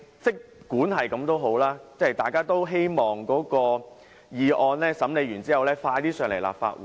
儘管如此，大家都希望《條例草案》完成審議能盡快提交立法會。